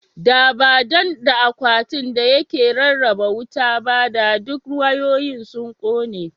Da ba dan da akwai akwatin da yake rarraba wuta ba (circuit breaker) ba, da duk wayoyin sun kone.